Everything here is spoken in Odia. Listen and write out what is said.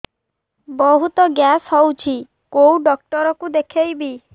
ବହୁତ ଗ୍ୟାସ ହଉଛି କୋଉ ଡକ୍ଟର କୁ ଦେଖେଇବି